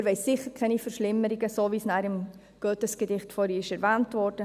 Und wir wollen sicher keine Verschlimmerungen – so, wie dies vorhin in Goethes Gedicht erwähnt wurde.